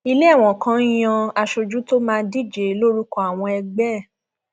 ilé ẹwọn kan yan aṣojú tó máa díje lórúkọ àwọn ẹgbẹ ẹ